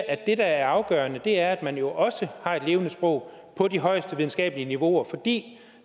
at det der er afgørende er at man jo også har et levende sprog på de højeste videnskabelige niveauer fordi